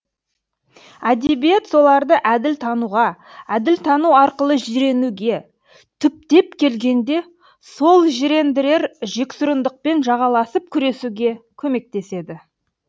әдебиет соларды әділ тануға әділ тану арқылы жиренуге түптеп келгенде сол жирендірер жексұрындықпен жағаласып күресуге көмектеседі